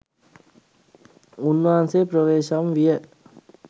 උන්වහන්සේ ප්‍රවේශම් විය